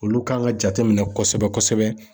Olu kan ka jate minɛ kosɛbɛ kosɛbɛ.